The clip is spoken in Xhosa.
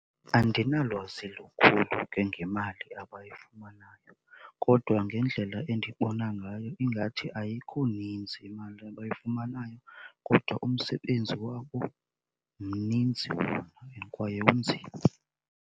Andinalwazi lukhulu ke ngemali abayifumanayo kodwa ngendlela endibona ngayo ingathi ayikho nintsi imali abayifumanayo kodwa umsebenzi wabo mninzi wona and kwaye unzima.